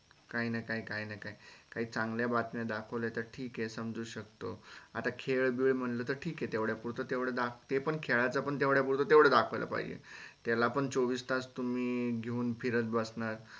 काहीना काहीं काहीना काही काही चांगल्या बातम्या दाखवल्या तर ठीक हे समजू शकतो आता खेळ बिळ म्हणल तर ठीक हे तेवढ्या पुरत तेवढ दाखवल ते पण खेळाच पण तेवढ्या पुरत तेवढ दाखवायला पाहिजे त्याला पण चोवीस तास तुम्ही घेवून फिरत बसनार.